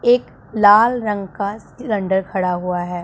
एक लाल रंग का सिलेंडर खड़ा हुआ है।